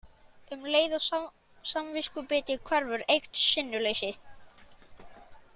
Um leið og samviskubitið hverfur eykst sinnuleysið.